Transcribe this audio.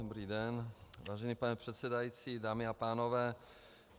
Dobrý den, vážený pane předsedající, dámy a pánové.